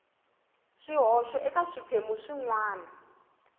swihoxo eka swiphemu swin wana